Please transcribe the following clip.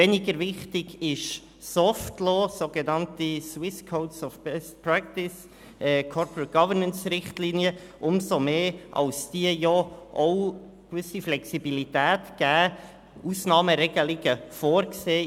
Weniger wichtig ist hingegen das «soft law», die sogenannten «Swiss Code of Best Practice for Corporate Governance»Richtlinien, umso mehr, als diese auch eine gewisse Flexibilität erlauben und Ausnahmeregelungen vorsehen.